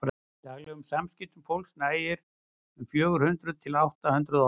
í daglegum samskiptum fólks nægja um fjögur hundruð til átta hundruð orð